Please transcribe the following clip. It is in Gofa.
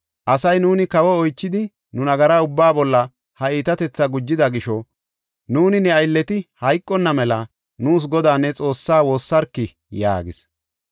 Asay, “Nuuni kawo oychidi, nu nagara ubbaa bolla ha iitatethaa gujida gisho nuuni ne aylleti hayqonna mela nuus Godaa ne Xoossaa woossarki” yaagis.